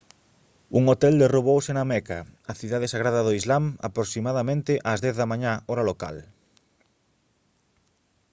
un hotel derrubouse na meca a cidade sagrada do islam aproximadamente ás 10 da mañá hora local